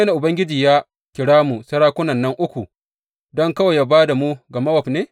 Ubangiji ya kira mu sarakunan nan uku don kawai yă ba da mu ga Mowab ne?